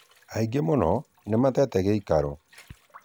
Aingĩ muno nĩmatete gĩĩkarũ.